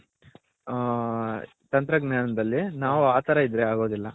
ಹ ತಂತ್ರ ಜ್ಞಾನದಲ್ಲಿ ನಾವು ಆ ತರ ಇದ್ರೆ ಆಗೋದಿಲ್ಲ .